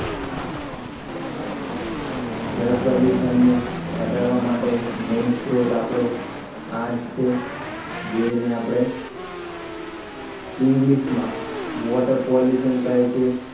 જળ પ્રદૂષણને ઘટાડવા માટે main સ્ત્રોત આપણું આ જ છે જેને આપણે english માં water pollution કહે છે